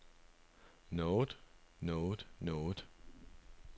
noget noget noget